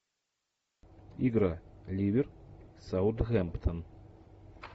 игра ливер саутгемптон